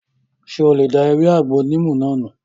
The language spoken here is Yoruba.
Ṣé o lè da ewé àgbo níìmù náà nù?